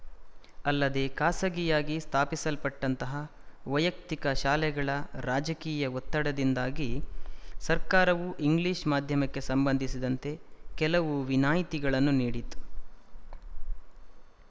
ಅಲ್ಲದೆ ಖಾಸಗಿಯಾಗಿ ಸ್ಥಾಪಿಸಲ್ಪಟ್ಟಂತಹ ವೈಯಕ್ತಿಕ ಶಾಲೆಗಳ ರಾಜಕೀಯ ಒತ್ತಡದಿಂದಾಗಿ ಸರ್ಕಾರವೂ ಇಂಗ್ಲಿಶ ಮಾಧ್ಯಮಕ್ಕೆ ಸಂಬಂಧಿಸಿದಂತೆ ಕೆಲವು ವಿನಾಯಿತಿಗಳನ್ನು ನೀಡಿತು